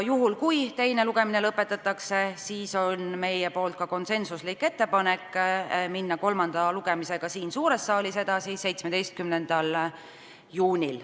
Juhul kui teine lugemine lõpetatakse, on meil ka konsensuslik ettepanek minna kolmanda lugemisega siin suures saalis edasi 17. juunil.